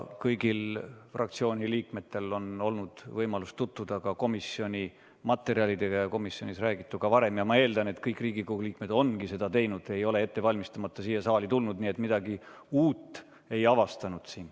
Kõigil fraktsiooni liikmetel on olnud võimalus tutvuda komisjoni materjalidega ja komisjonis räägituga varem ning ma eeldan, et kõik Riigikogu liikmed ongi seda teinud – ei ole tulnud siia saali ettevalmistamata –, nii et midagi uut siin ei avastanud.